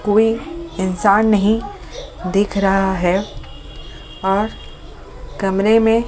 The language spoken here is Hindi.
कोई इंसान नहीं दिख रहा है और कमरे में--